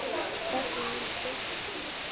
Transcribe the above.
Þögnin er þykk og djúp.